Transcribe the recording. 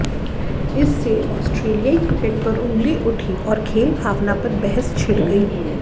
इससे आस्ट्रेलियाई क्रिकेट पर ऊंगली उठी और खेलभावना पर बहस छिड़ गई